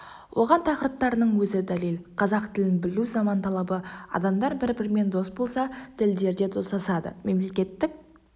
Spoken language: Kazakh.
оған тақырыптарының өзі дәлел қазақ тілін білу заман талабы адамдар бірбірімен дос болса тілдерде достасады мемлекеттік